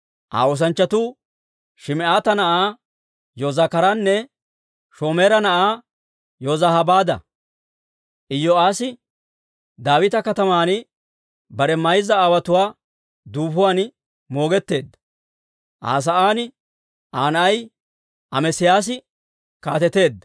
Aa Oosanchchatuu Shim"aata na'aa Yozakaaranne Shomeera na'aa Yihozabaada. Iyo'aassi Daawita Kataman bare mayza aawotuwaa duufuwaan moogetteedda; Aa sa'aan Aa na'ay Amesiyaasi kaateteedda.